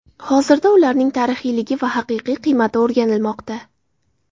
Hozirda ularning tarixiyligi va haqiqiy qiymati o‘rganilmoqda.